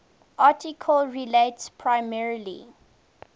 article relates primarily